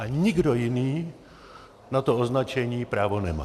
A nikdo jiný na to označení právo nemá.